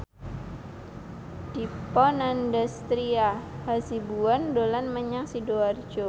Dipa Nandastyra Hasibuan dolan menyang Sidoarjo